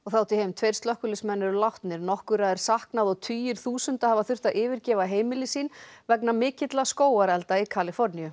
tveir slökkviliðsmenn eru látnir nokkurra er saknað og tugir þúsunda hafa þurft að yfirgefa heimili sín vegna mikilla skógarelda í Kaliforníu